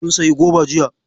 Mun sayi goba jiya.